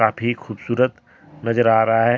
भी खूबसूरत नजर आ रहा है।